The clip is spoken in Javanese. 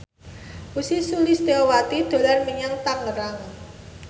Ussy Sulistyawati dolan menyang Tangerang